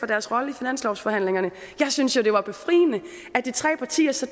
deres rolle i finanslovsforhandlingerne jeg synes jo det var befriende at de tre partier så